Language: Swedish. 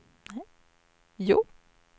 Hjo